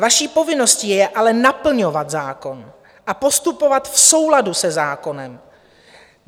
Vaší povinností je ale naplňovat zákon a postupovat v souladu se zákonem.